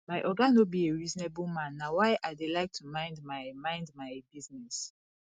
my oga no be a reasonable man na why i dey like to mind my mind my business